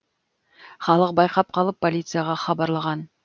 халық байқап қалып полицияға хабарлаған